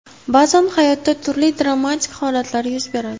Ba’zan hayotda turli dramatik holatlar yuz beradi.